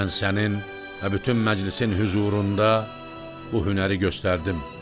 Mən sənin və bütün məclisin hüzurunda bu hünəri göstərdim.